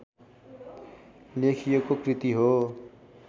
लेखिएको कृति हो